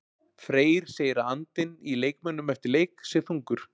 Freyr segir að andinn í leikmönnum eftir leik sé þungur.